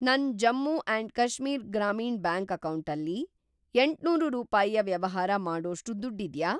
ನನ್‌ Jammu and Kashmir Grameen bank ಅಕೌಂಟಲ್ಲಿ ಎಂಟ್ನೂರು ರೂಪಾಯಿಯ ವ್ಯವಹಾರ ಮಾಡೋಷ್ಟು ದುಡ್ಡಿದ್ಯಾ?